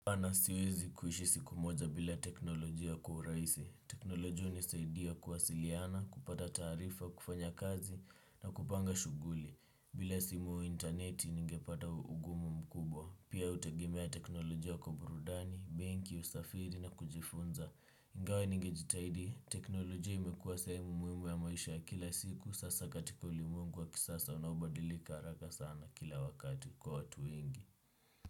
Ana siwezi kuishi siku moja bila teknolojia kwa uraisi. Teknolojia unisaidia kuwasiliyana, kupata tarifa, kufanya kazi na kupanga shuguli. Bila simu interneti ningepata ugumu mkubwa. Pia utegemea teknolojia kwa burudani, mengi, usafiri na kujifunza. Ingawa ninge jitaidi, teknolojia imekuwa sehemu muimu ya maisha ya kila siku. Sasa katika ulimuengu wa kisasa unaobadilika haraka sana kila wakati kwa watu wengi.